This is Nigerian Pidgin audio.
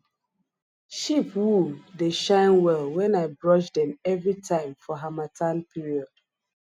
sheep wool dey shine well when i brush dem every time for harmattan period